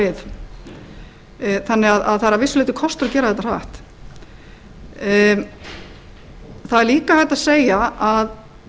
brenna við þannig að það er að vissu leyti kostur að gera þetta þar það er líka hægt að segja að